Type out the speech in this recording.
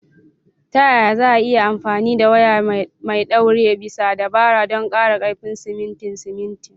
Ta yaya za a iya amfani da waya mai ɗaure bisa dabara don ƙara ƙarfin simintin simintin?